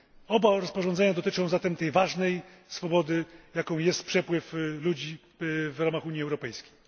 Oba rozporządzenia dotyczą zatem tej ważnej swobody, jaką jest przepływ ludzi w ramach Unii Europejskiej.